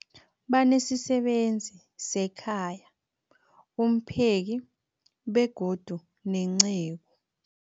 Banesisebenzi sekhaya, umpheki, begodu nenceku.